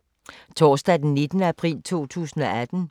Torsdag d. 19. april 2018